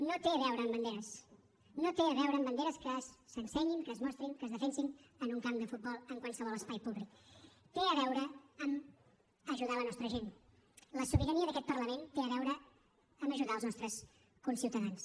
no té a veure amb banderes no té a veure amb banderes que s’ensenyin que es mostrin que es defensin en un camp de futbol en qualsevol espai públic té a veure amb ajudar la nostra gent la sobirania d’aquest parlament té a veure amb ajudar els nostres conciutadans